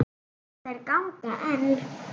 Þær ganga enn.